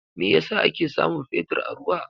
Me yasa ake samun Fetur a ruwa?